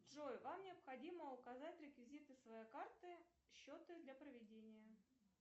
джой вам необходимо указать реквизиты своей карты счета для проведения